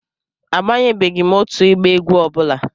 Abanyebeghị m otu ịgba egwu ọ bụla.